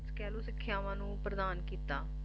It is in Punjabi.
ਕਹਿਲੋ ਸਿੱਖਿਆਵਾਂ ਨੂੰ ਪ੍ਰਦਾਨ ਕੀਤਾ